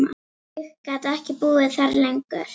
Ég gat ekki búið þar lengur.